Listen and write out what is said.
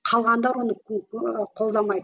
қалғандары оны қолдамайды